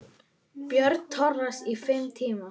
Björn Thors: Í fimm tíma?